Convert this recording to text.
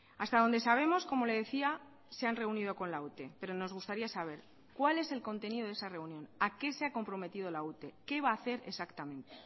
hasta donde sabemos como le decía se han reunido con la ute pero nos gustaría saber cuál es el contenido de esa reunión a qué se ha comprometido la ute qué va a hacer exactamente